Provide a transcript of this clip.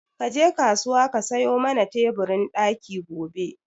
Ka je kasuwa ka sayo mana teburin ɗaki gobe